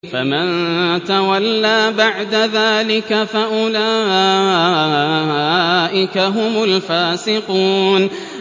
فَمَن تَوَلَّىٰ بَعْدَ ذَٰلِكَ فَأُولَٰئِكَ هُمُ الْفَاسِقُونَ